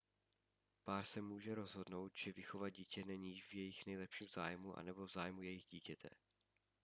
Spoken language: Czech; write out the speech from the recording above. pár se může rozhodnout že vychovat dítě není v jejich nejlepším zájmu nebo v zájmu jejich dítěte